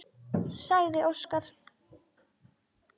sagði Óskar.